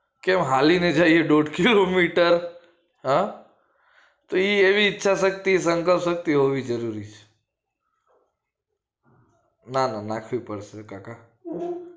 કેમ હાલી ને જઈએ દોઢ કિલો મીટર ચાલી હ તો એ એવી ઈચ્છા શક્તિ ને સંકા શક્તિ હોવી જરૂરી ના ના નાખવી પડશે કાકા